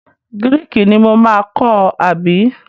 Gíréékí ni mo máa kọ́ àbí?